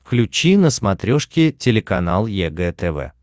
включи на смотрешке телеканал егэ тв